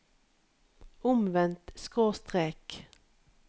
omvendt skråstrek